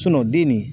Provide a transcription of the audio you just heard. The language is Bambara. den nin